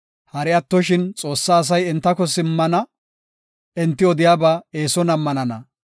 Hari attoshin, Xoossaa asay entako simmana; enti odiyaba eeson ammanana.